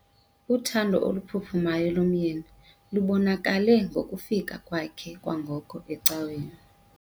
Uthando oluphuphumayo lomyeni lubonakale ngokufika kwakhe kwangoko ecaweni.